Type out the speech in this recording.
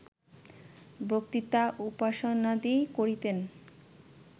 বক্তৃতা, উপাসনাদি করিতেন